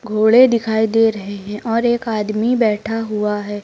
घोड़े दिखाई दे रहे हैं और एक आदमी बैठा हुआ है।